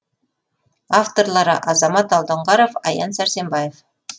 авторлары азамат алдоңғаров аян сәрсенбаев